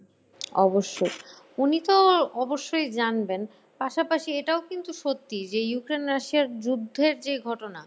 অবশ্যই। উনি তো অবশ্যই জানবেন পাশাপাশি এটাও কিন্তু সত্যি যে ইউক্রেন রাশিয়ার যুদ্ধের যে ঘটনা